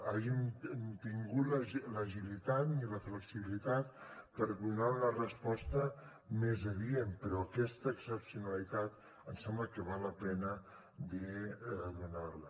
hàgim tingut l’agilitat ni la flexibilitat per donar una resposta més adient però aquesta excepcionalitat em sembla que val la pena de donar la